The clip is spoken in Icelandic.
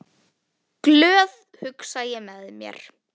Glöð, hugsa ég með mér.